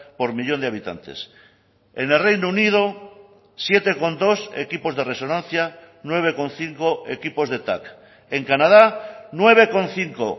por millón de habitantes en el reino unido siete coma dos equipos de resonancia nueve coma cinco equipos de tac en canadá nueve coma cinco